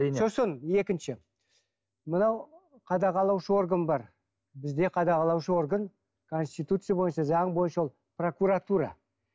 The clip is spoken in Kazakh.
сосын екінші мынау қадағалаушы орган бар бізде қадағалаушы орган конституция бойынша заң бойынша ол прокуратура